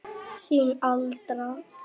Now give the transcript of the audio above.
Þín Alda.